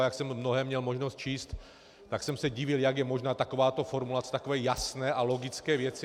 A jak jsem mnohé měl možnost číst, tak jsem se divil, jak je možná takováto formulace takové jasné a logické věci.